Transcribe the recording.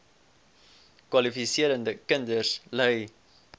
kwalifiserende kinders ly